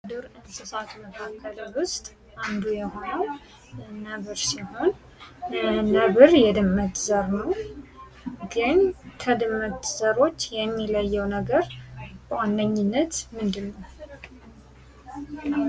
ከዱር እንስሳት መካከል ውስጥ አንዱ የሆነው ነብር ሲሆን ነብር የድመት ዘር ነው፤ ግን ከድመት ዘሮች የሚለየው ነገር በዋነኝነት ምንድነው?